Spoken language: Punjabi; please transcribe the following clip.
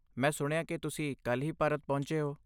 ਮੈਂ ਸੁਣਿਆ ਕਿ ਤੁਸੀਂ ਕੱਲ੍ਹ ਹੀ ਭਾਰਤ ਪਹੁੰਚੇ ਹੋ।